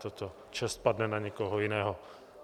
Tato čest padne na někoho jiného.